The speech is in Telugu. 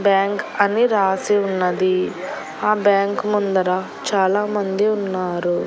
బ్యాంక్ అని రాసి ఉన్నది ఆ బ్యాంకు ముందర చాలామంది ఉన్నారు.